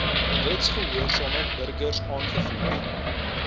wetsgehoorsame burgers aangevuur